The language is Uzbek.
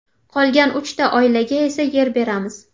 Qolgan uchta oilaga esa yer beramiz.